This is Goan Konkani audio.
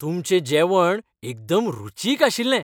तुमचें जेवण एकदम रुचीक आशिल्लें